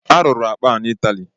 A rụrụ akpa a n’Ịtalị